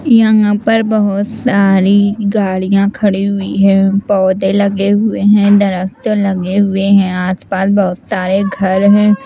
यहाँं पर बहुत सारी गाड़ियाँ खड़ी हुई हैं पौधे लगे हुए हैं दरख्त लगे हुए हैं आस पास बहुत सारे घर हैं।